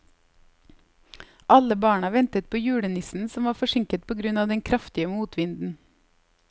Alle barna ventet på julenissen, som var forsinket på grunn av den kraftige motvinden.